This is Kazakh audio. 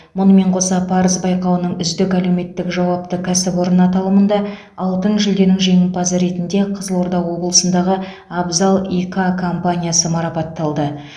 мұнымен қоса парыз байқауының үздік әлеуметтік жауапты кәсіпорын аталымында алтын жүлденің жеңімпазы ретінде қызылорда облысындағы абзал и к компаниясы марапатталды